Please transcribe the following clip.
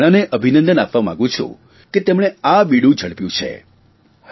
હું હરિયાણાને અભિનંદન આપવા માંગુ છું કે તેમણે આ બીડું ઝડપ્યું છે